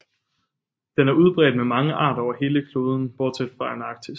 Den er udbredt med mange arter over hele kloden bortset fra Antarktis